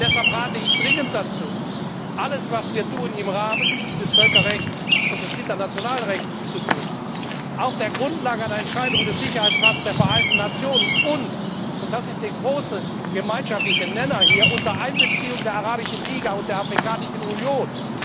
Deshalb rate ich dringend dazu, alles, was wir tun, im Rahmen des Völkerrechts und des internationalen Rechts zu tun, und zwar auf der Grundlage einer Entscheidung des Sicherheitsrats der Vereinten Nationen und und das ist der große gemeinschaftliche Nenner unter Einbeziehung der Arabischen Liga und der Afrikanischen Union.